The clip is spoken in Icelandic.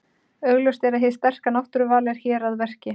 Augljóst er að hið sterka náttúruval er hér að verki.